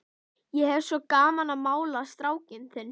Ég hef svo gaman af að mála strákinn þinn.